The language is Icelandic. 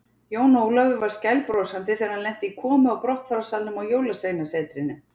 Jón Ólafur var skælbrosandi þegar hann lenti í komu og brottfararsalnum á Jólasveinasetrinu.